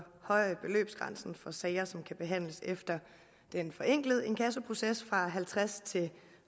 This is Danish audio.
sager som kan behandles efter den forenklede inkassoproces fra halvtredstusind